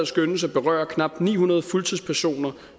skønnes at berøre knap ni hundrede fuldtidspersoner